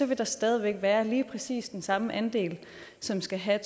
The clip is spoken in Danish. vil der stadig væk være lige præcis den samme andel som skal have